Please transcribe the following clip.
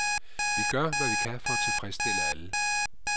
Vi gør, hvad vi kan for at tilfredsstille alle.